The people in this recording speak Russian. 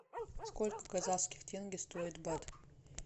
сколько казахских тенге стоит бат